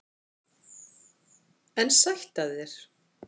En sætt af þér!